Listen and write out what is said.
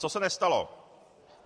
Co se nestalo?